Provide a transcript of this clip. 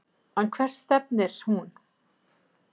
En hvert stefnir hún?